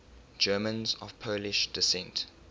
germans of polish descent